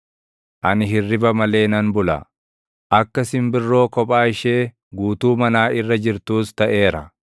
Ani hirriba malee nan bula; akka simbirroo kophaa ishee guutuu manaa irra jirtuus taʼeera.